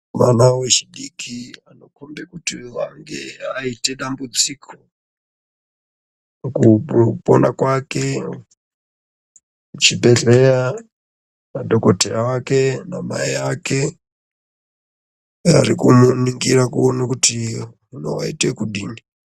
Vana ve chidiki vano kombe kuti vange vaite dambudziko muku pona kwake chibhedhleya na dhokoteya wake na mai ake ari kumu ningira kuona kuti vano vaite kudini.